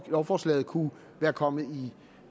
lovforslaget kunne komme i